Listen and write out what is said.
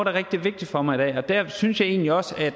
er rigtig vigtigt for mig jeg synes egentlig også at